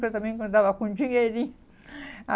Quando eu também andava com dinheirinho.